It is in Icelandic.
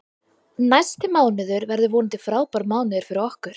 Næsti mánuður verður vonandi frábær mánuður fyrir okkur.